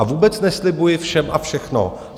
A vůbec neslibuji všem a všechno.